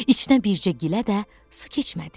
İçinə bircə gilə də su keçmədi.